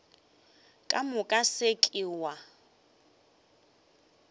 ka moka se ke wa